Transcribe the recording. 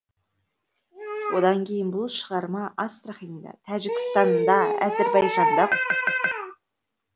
одан кейін бұл шығарма астраханьда тәжікстанда әзірбайжанда қойылды